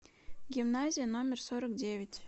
гимназия номер сорок девять